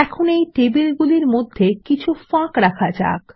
এখানে এই টেবিল গুলির মধ্যে কিছু ফাঁক রাখা যাক